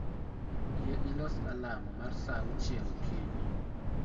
Yie ilos alarm mar saa auchiel okinyi